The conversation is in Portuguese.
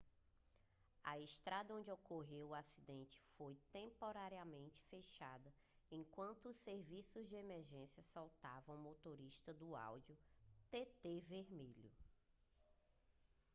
a estrada onde ocorreu o acidente foi temporariamente fechada enquanto os serviços de emergência soltaram o motorista do audi tt vermelho